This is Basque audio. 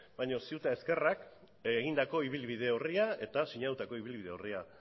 baina ciu eta ezkerrak egindako ibilbide orria eta sinatutako ibilbide orria